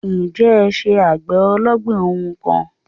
Ǹjẹ́ ẹ n se àgbè ológbìn ohun kan